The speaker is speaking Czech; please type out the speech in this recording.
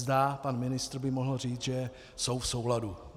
Zda pan ministr by mohl říci, že jsou v souladu.